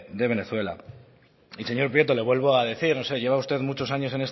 de venezuela y señor prieto le vuelvo a decir no sé lleva usted muchos años